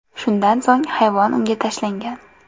Shundan so‘ng hayvon unga tashlangan.